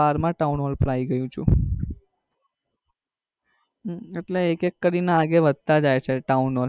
બારમા town પર આવી ગયો છું એટલે એક એક કરી ને આગળ વધતા જાય છે town નો.